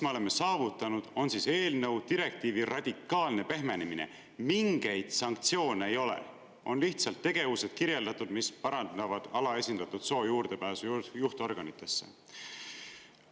Me oleme saavutanud selle eelnõu, direktiivi radikaalse pehmenemise: mingeid sanktsioone ei ole, on lihtsalt kirjeldatud tegevused, mis parandavad alaesindatud soo juurdepääsu juhtorganitesse.